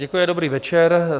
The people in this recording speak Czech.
Děkuji, dobrý večer.